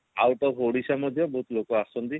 out of Odisha ମଧ୍ୟ ବହୁତ ଲୋକ ଆସନ୍ତି